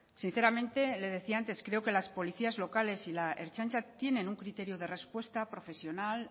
sinceramente le decía antes creo que las policías locales y la ertzaintza tienen un criterio de respuesta profesional